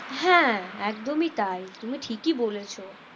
হ্যাঁ একদমই তাই তুমি ঠিকই বলেছো।